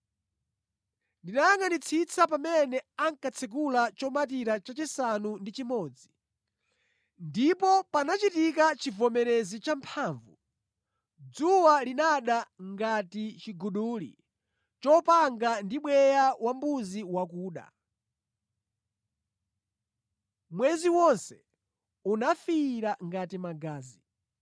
Ndinayangʼanitsitsa pamene ankatsekula chomatira chachisanu ndi chimodzi. Ndipo panachitika chivomerezi champhamvu. Dzuwa linada ngati chiguduli chopanga ndi bweya wambuzi wakuda. Mwezi wonse unafiira ngati magazi,